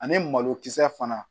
Ani malokisɛ fana